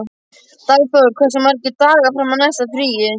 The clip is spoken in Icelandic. Dagþór, hversu margir dagar fram að næsta fríi?